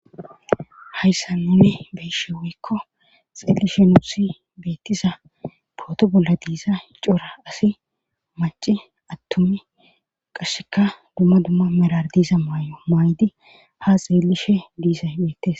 hayssa nuni beyshe woykko xeelishe nuusi beettiza booto bolla diiza hicora asi maci attumi qashsheka dumma dumma merar diiza maay7o maydi ha xeelishe diiza beettes